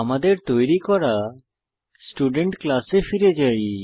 আমাদের তৈরী করা স্টুডেন্ট ক্লাসে ফিরে যাই